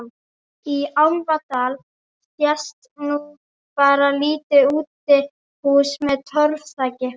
Í Álfadal sést núna bara lítið útihús með torfþaki.